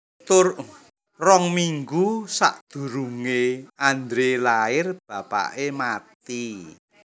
Rong minggu sakdurunge Andrew lair bapake mati